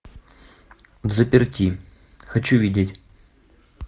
взаперти хочу видеть